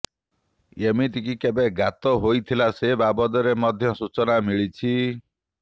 ଏମିତିକି କେବେ ଗାତ ହୋଇଥିଲା ସେ ବାବଦରେ ମଧ୍ୟ ସୂଚନା ମିଳିଛି